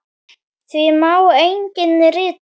Því má einnig rita